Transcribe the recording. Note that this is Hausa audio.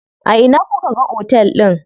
A ina kuka ga otel din?